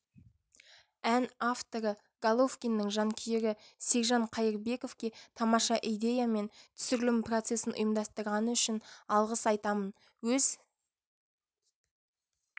ән авторы головкиннің жанкүйері сержан қайырбековке тамаша идея мен түсірілім процесін ұйымдастырғаны үшін алғыс айтамын өз